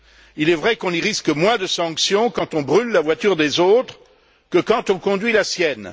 Il est vrai qu'on y risque moins de sanctions quand on brûle la voiture des autres que quand on conduit la sienne.